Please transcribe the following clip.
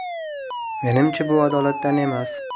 Menimcha, bu adolatdan emas.